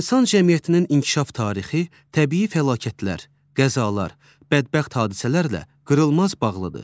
İnsan cəmiyyətinin inkişaf tarixi təbii fəlakətlər, qəzalar, bədbəxt hadisələrlə qırılmaz bağlıdır.